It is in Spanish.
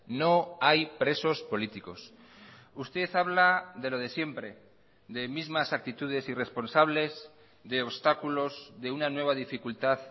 no hay presos políticos usted habla de lo de siempre de mismas actitudes irresponsables de obstáculos de una nueva dificultad